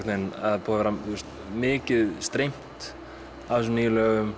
mikið streymt af þessum nýju lögum